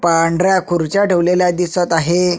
पांढऱ्या खुर्च्या ठेवालेल्या दिसत आहे.